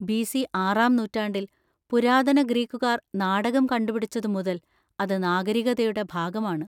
B. C ആറാം നൂറ്റാണ്ടിൽ പുരാതന ഗ്രീക്കുകാർ നാടകം കണ്ടുപിടിച്ചതുമുതൽ അത് നാഗരികതയുടെ ഭാഗമാണ്.